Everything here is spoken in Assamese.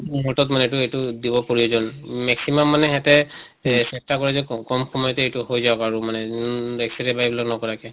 মুতত মানে এইটো এইটো দিব প্ৰয়োজন maximum মানে সিহঁতে এহ চেষ্টা কৰে যে কম কম সময়তে এইটো হৈ যাওঁক আৰু মানে নন X ray বা এইবিলাক নকৰাকে।